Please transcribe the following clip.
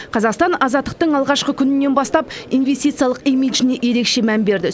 қазақстан азаттықтың алғашқы күнінен бастап инвестициялық имиджіне ерекше мән берді